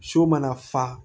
So mana fa